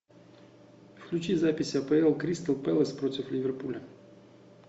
включи запись апл кристал пэлас против ливерпуля